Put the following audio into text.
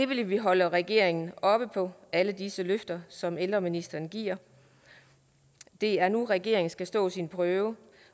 vi vil holde regeringen op på alle disse løfter som ældreministeren giver det er nu regeringen skal stå sin prøve